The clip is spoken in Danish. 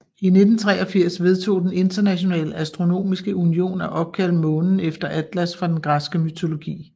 I 1983 vedtog den Internationale Astronomiske Union at opkalde månen efter Atlas fra den græske mytologi